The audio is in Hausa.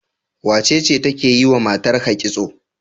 Wacece take yiwa matarka kitso?